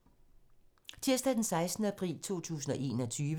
Tirsdag d. 6. april 2021